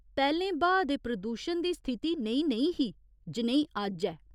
पैह्‌लें ब्हाऽ दे प्रदूशण दी स्थिति नेही नेईं ही जनेही अज्ज ऐ।